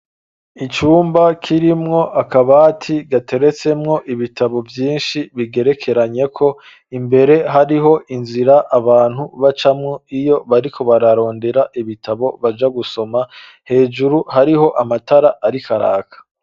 Icumba kirimwo akabati gateretsemwo ibitabo vyinshi bigerekeranyeko, imbere hariho inzira abantu bacamwo iyo bariko bararondera ibitabo baja gusoma, hejuru hariho amatara ariko araka.